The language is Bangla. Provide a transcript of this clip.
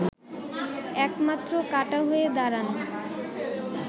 একমাত্র কাঁটা হয়ে দাঁড়ান